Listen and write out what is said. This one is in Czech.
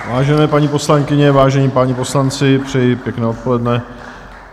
Vážené paní poslankyně, vážení páni poslanci, přeji pěkné odpoledne.